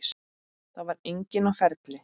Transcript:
Það var enginn á ferli.